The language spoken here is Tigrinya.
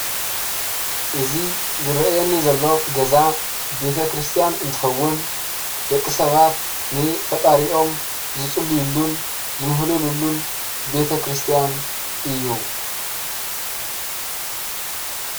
እዚ ዝረአ ዘሎ ገዛ ቤተክርስትያን እንትከውን ደቂ ሰባት ንፈጣሪኦም ዝፅልዩሉን ዝምህለሉን ቤተክርስትያን እዩ።